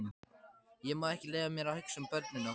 Ég má ekki leyfa mér að hugsa um börnin okkar.